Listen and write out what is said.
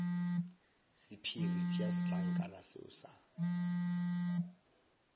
sephiri tšea setlankana seo sa